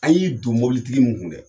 An y'i don mobolitigi min kun dɛ